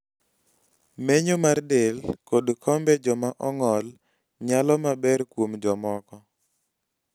menyo mar del kod kombe jo ma ong'ol nyalo maber kuom jomoko